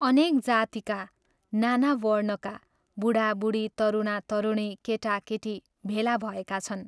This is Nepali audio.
अनेक जातिका, नाना वर्णका, बूढाबूढी, तरुणातरुणी, केटाकेटी भेला भएका छन्।